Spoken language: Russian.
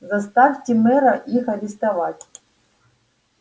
заставьте мэра их арестовать